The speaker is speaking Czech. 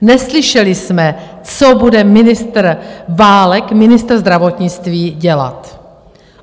Neslyšeli jsme, co bude ministr Válek, ministr zdravotnictví, dělat.